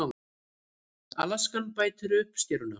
Askan bætir uppskeruna